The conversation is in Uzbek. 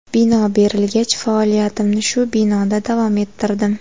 Bino berilgach, faoliyatimni shu binoda davom ettirdim.